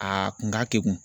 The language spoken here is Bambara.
A kun ka kegun.